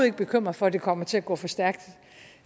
ikke bekymret for at det kommer til at gå for stærkt